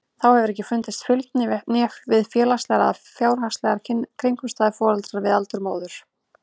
Þá hefur ekki fundist fylgni við félagslegar eða fjárhagslegar kringumstæður foreldra né við aldur móður.